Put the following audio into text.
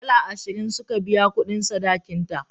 Dala ashirin suka biya kudin sadakin ta.